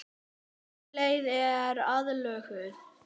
Þessi leið er aflögð.